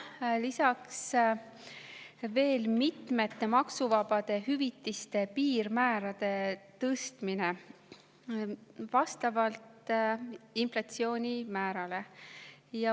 Lisaks tõstetakse mitmete maksuvabade hüvitiste piirmäärasid vastavalt inflatsioonimäärale.